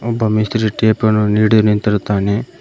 ಒಬ್ಬ ಮೇಸ್ತ್ರಿ ಟೇಪನ್ನು ನೀಡಿ ನಿಂತಿರುತ್ತಾನೆ.